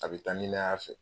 A bɛ taa ni ne y'a fɛ